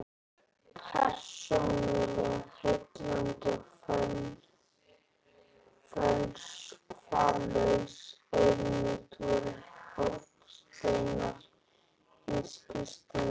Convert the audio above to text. Persónuleg heilindi og fölskvalaus auðmýkt væru hornsteinar hins kristna trúarlífs.